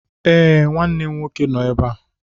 Ee, nwanne m nwoke nọ na-ébé a